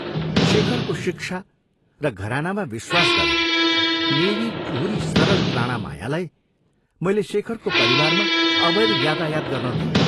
शेखरको शिक्षा र घरानामा विश्वास गरेर मेरी टुहुरी सरलप्राणा मायालाई मैले शेखरको परिवारमा अवैध यातायात गर्न दिएँ।